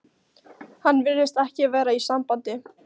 Hann virðist ekki vera í sambandi.